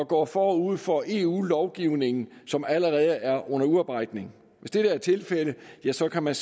går forud for eu lovgivningen som allerede er under udarbejdelse hvis dette er tilfældet ja så kan man